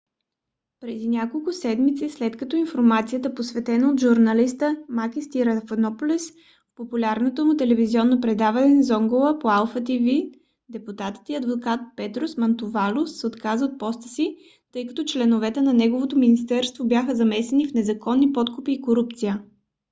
преди няколко седмици след като информацията оповестена от журналиста макис триантафилопулос в популярното му телевизионно предаване zoungla по алфа тв депутатът и адвокат петрос мантувалос се отказа от поста си тъй като членове на неговото министерство бяха замесени в незаконни подкупи и корупция